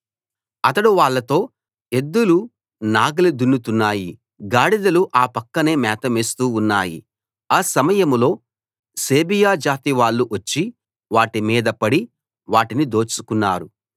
అతడు వాళ్ళతో ఎద్దులు నాగలి దున్నుతున్నాయి గాడిదలు ఆ పక్కనే మేత మేస్తూ ఉన్నాయి ఆ సమయంలో సేబియా జాతి వాళ్ళు వచ్చి వాటి మీద పడి వాటిని దోచుకున్నారు